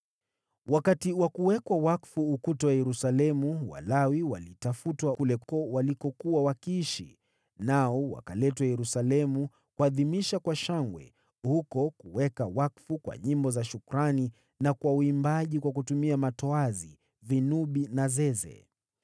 Wakati wa kuwekwa wakfu ukuta wa Yerusalemu, Walawi walitafutwa kule walikokuwa wakiishi, nao wakaletwa Yerusalemu kuadhimisha kwa shangwe huko kuweka wakfu kwa nyimbo za shukrani na kwa uimbaji wakitumia matoazi, vinubi na zeze.